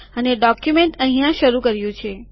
અમે ડોક્યુમેન્ટ અહીંયા શરૂ કર્યું છે